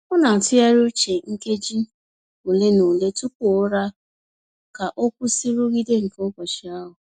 Ọ na-ntụgharị uche nkeji ole na ole tupu ụra ka o kwụsị nrụgide nke ụbọchị ahụ.